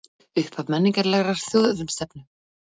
Upphaf menningarlegrar þjóðernisstefnu